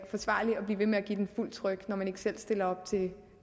forsvarligt at blive ved med at give den fuldt tryk når vedkommende ikke selv stiller op til